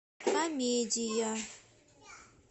комедия